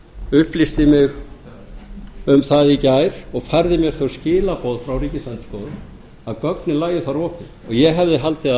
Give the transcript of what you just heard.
upplýsti mig um það í gær og færði mér þau skilaboð frá ríkisendurskoðun að gögnin lægju þar opin og hefði haldið að